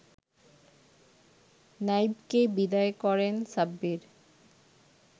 নাইবকে বিদায় করেন সাব্বির